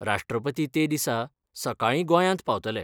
राश्ट्रपती ते दिसा सकाळी गोयांत पावतले.